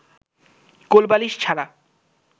কোলবালিশ ছাড়া